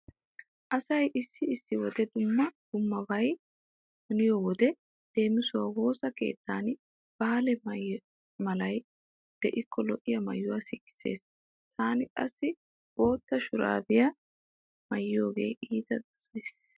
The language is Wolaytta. Asay issi issi wode dumma dummabay haniyo wode leemisuwawu woosa keettan baale malay diikko lo'iya maayuwa sikissees. Taani qassi bootta shuraabiya maayiyogaa iita dosays.